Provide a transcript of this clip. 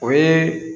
O ye